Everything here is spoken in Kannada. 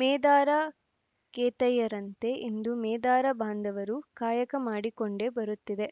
ಮೇದಾರ ಕೇತಯ್ಯರಂತೆ ಇಂದು ಮೇದಾರ ಬಾಂಧವರೂ ಕಾಯಕ ಮಾಡಿಕೊಂಡೇ ಬರುತ್ತಿದೆ